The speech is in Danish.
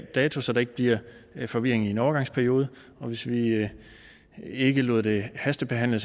dato så der ikke bliver forvirring i en overgangsperiode hvis vi ikke ikke lod det hastebehandle